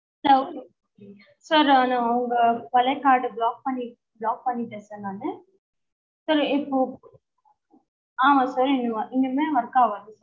hello sir நா உங்க பழைய card அ block பண்ணிட்டேன் block பண்ணிட்டேன் sir நானு sir இப்போ ஆமா sir இனிமே work ஆவாதுங்களா